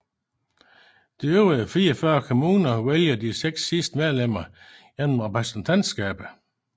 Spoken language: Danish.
De øvrige 44 kommuner vælger de seks sidste medlemmer gennem repræsentantskabet